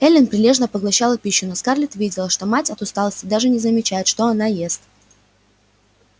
эллин прилежно поглощала пищу но скарлетт видела что мать от усталости даже не замечает что она ест